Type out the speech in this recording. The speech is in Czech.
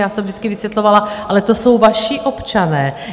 Já jsem vždycky vysvětlovala: Ale to jsou vaši občané.